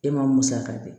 E ma musaka di